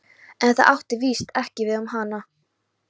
En það átti víst ekki við um hana.